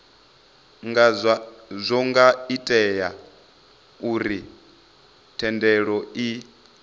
nga ita uri thendelo i